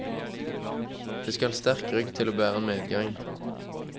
Det skal sterk rygg til å bære medgang.